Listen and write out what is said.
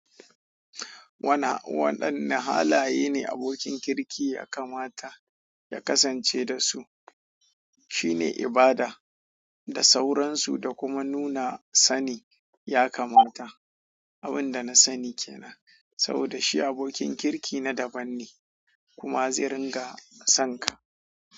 Wadanne halaye ne abokin kirki ya kamata ya kasance da su? Shi ne ibada da sauransu da kuma nuna sani ya kamata. Abin da na sani kenan saboda shi abokin kirki na daban ne kuma zai ringa son ka.